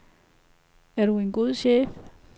Er du en god chef?